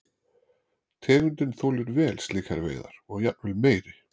Tegundin þolir vel slíkar veiðar og jafnvel meiri.